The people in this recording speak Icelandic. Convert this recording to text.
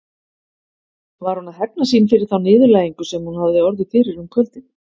Var hún að hefna sín fyrir þá niðurlægingu sem hún hafði orðið fyrir um kvöldið?